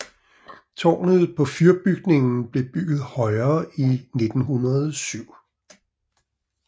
Tårnet på fyrbygningen blev bygget højere i 1907